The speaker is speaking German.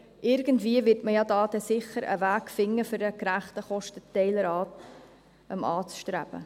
Irgendwie wird man da dann sicher einen Weg finden, um einen gerechten Kostenteiler anzustreben.